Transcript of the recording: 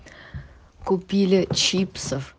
купили чипсов